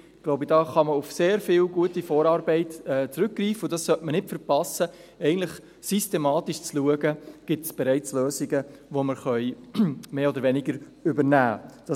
Ich glaube, dort kann man auf sehr viel gute Vorarbeit zurückgreifen, und man sollte es nicht verpassen, eigentlich systematisch zu schauen, ob es bereits Lösungen gibt, die wir mehr oder weniger übernehmen können.